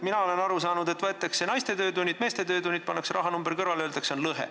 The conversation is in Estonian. Mina olen aru saanud, et võetakse naiste töötunnid ja meeste töötunnid, pannakse rahanumber kõrvale ja öeldakse, et on lõhe.